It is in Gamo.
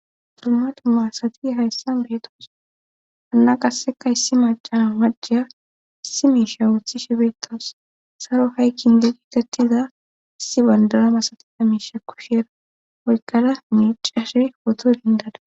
Duma duma maasati hayssan beetos anna qasseka issi maca maceya issi miisha wuthi shibeetas saro haykkin geqi gatiza issi bandara masati amiisha kosheera waykada miicashe woto dindada